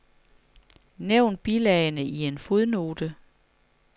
Nævn bilagene i en fodnote.